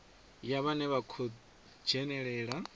ya vhane vha khou dzhenelela